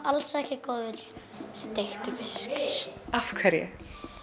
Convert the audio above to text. alls ekki góður steiktur fiskur af hverju